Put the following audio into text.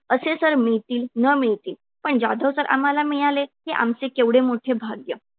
असे sir मिळतील न मिळतील. पण जाधव sir आम्हाला मिळाले हे आमचे केवढे मोठे भाग्य.